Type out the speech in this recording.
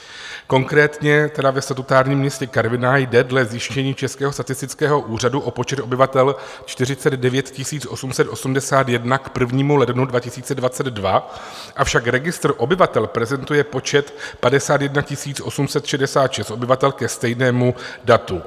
Konkrétně tedy ve statutárním městě Karviná jde dle zjištění Českého statistického úřadu o počet obyvatel 49 881 k 1. lednu 2022, avšak registr obyvatel prezentuje počet 51 866 obyvatel ke stejnému datu.